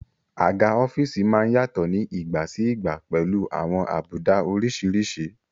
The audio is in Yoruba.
Àga ọ́fíìsì má ń yàtọ̀ ní ìgbà sí ìgbà pẹ̀lú àwọn àbùdá oríṣiríṣi